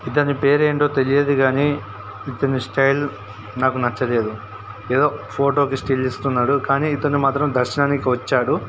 ఇతని పేరు ఏంటో తెలియదు కానీ ఇతని స్టైల్ నాకు నచ్చలేదు. ఏదో ఫోటో కి స్టిల్ ఇస్తున్నాడు. కానీ ఇతడు మాత్రం దర్శనానికి వచ్చాడు.